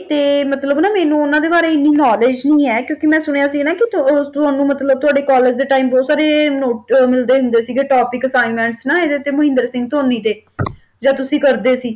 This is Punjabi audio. ਤੇ ਮਤਲਬ ਨਾ ਮੈਨੂੰ ਉਨ੍ਹਾਂ ਦੇ ਬਾਰੇ ਇੰਨੀ knowledge ਨਹੀਂ ਹੈ ਕਿਉਂਕਿ ਮੈਂ ਸੁਣਿਆ ਸੀ ਨਾ ਕਿ ਆਹ ਤੁ ਤੁਹਾਨੂੰ ਮਤਲਬ ਤੁਹਾਡੇ ਕਾਲਜ ਦੇ time ਬਹੁਤ ਸਾਰੇ notes ਅਹ ਮਿਲਦੇ ਹੁੰਦੇ ਸੀਗੇ topic assignments ਨਾ ਇਹਦੇ ਤੇ ਮਹਿੰਦਰ ਸਿੰਘ ਧੋਨੀ ਤੇ ਜਦ ਤੁਸੀਂ ਕਰਦੇ ਸੀ।